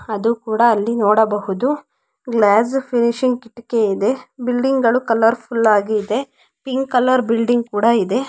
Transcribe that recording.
ಅದು ಕೂಡಾ ಅಲ್ಲಿ ನೋಡಬಹುದು ಗ್ಲಾಸ್ ಫಿನಿಶಿಂಗ್ ಕಿಟಕಿ ಇದೆ ಬಿಲ್ಡಿಂಗ್ ಗಳು ಕಲರ್ಫುಲ್ ಆಗಿ ಇದೆ ಪಿಂಕ್ ಕಲರ್ ಬಿಲ್ಡಿಂಗ್ ಕೂಡಾ ಇದೆ.